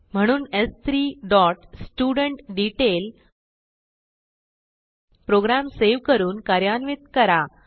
म्हणून स्3 dot student detail program save करून कार्यान्वित करा